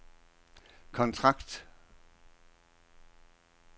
kontrakt